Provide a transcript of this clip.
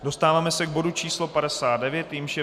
Dostáváme se k bodu číslo 59, jímž je